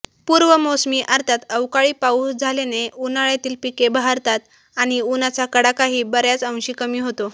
पूर्वमोसमी अर्थात अवकाळी पाऊस झाल्याने उन्हाळ्यातील पिके बहरतात आणि उन्हाचा कडाकाही बऱ्याच अंशी कमी होतो